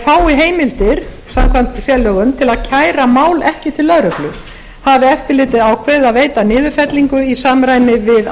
fái heimildir samkvæmt sérlögum til að kæra mál ekki til lögreglu hafi eftirlitið ákveðið að veita niðurfellingu í samræmi við